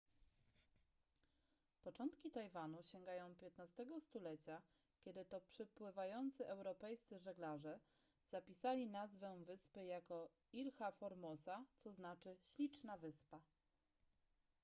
początki tajwanu sięgają xv stulecia kiedy to przepływający europejscy żeglarze zapisali nazwę wyspy jako ilha formosa co znaczy śliczna wyspa